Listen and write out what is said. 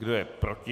Kdo je proti?